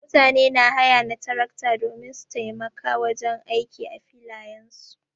Mutane na haya na tarakta domin su taimaka wajen aiki a filayen su.